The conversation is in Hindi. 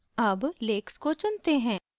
अब lakes lakes को चुनते हैं